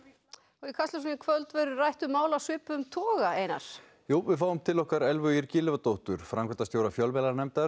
og í Kastljósinu í kvöld verður rætt um mál af svipuðum toga Einar jú við fáum til okkar Elvu Ýr Gylfadóttur framkvæmdastjóra fjölmiðlanefndar